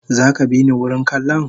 Zaka bini wurin kallon?